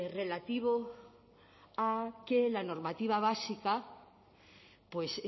relativo a que la normativa básica pues